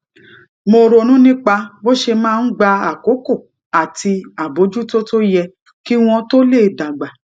mo ronú nípa bó ṣe máa ń gba àkókò àti àbójútó tó yẹ kí wón tó lè dàgbà